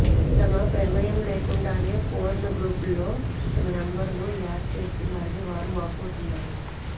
తమ ప్రమేయం లేకుండానే పోర్న్ గ్రూపుల్లో తమ నెంబరును యాడ్ చేస్తున్నారని వారు వాపోతున్నారు